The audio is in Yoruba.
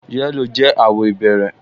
Yẹ́lò jẹ́ àwọ̀ ìbẹ̀rẹ̀